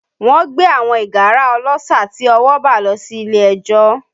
Wọ́n gbé àwọn ìgárá ọlọ́ṣà tí ọwọ́ bà lọ sí ilé ẹjọ́